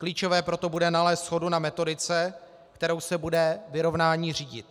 Klíčové proto bude nalézt shodu na metodice, kterou se bude vyrovnání řídit.